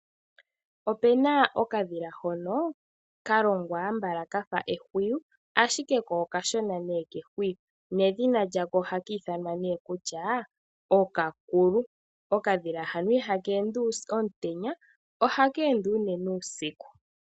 Opena okadhila hono ka longwa konyala kafa ehwiyu ashike ko okashona kehwiyu. Nedhina lyako oha ka ithanwa nee kutya oKakulu. Okadhila hano ihaka ende omutenya ohaka ende unene uusiku.